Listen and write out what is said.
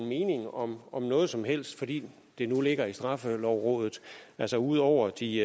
mening om om noget som helst fordi det nu ligger i straffelovrådet altså udover de